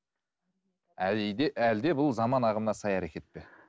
әлде бұл заман ағымына сай әркет пе